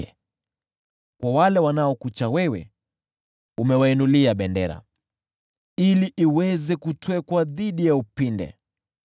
Kwa wale wanaokucha wewe, umewainulia bendera, ili iweze kutwekwa dhidi ya upinde.